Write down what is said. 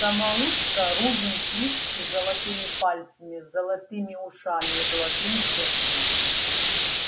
самоучка рувим свицкий золотыми пальцами золотыми ушами и золотым сердцем